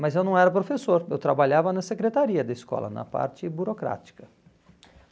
Mas eu não era professor, eu trabalhava na secretaria da escola, na parte burocrática.